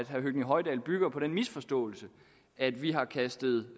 høgni hoydal bygger på den misforståelse at vi har kastet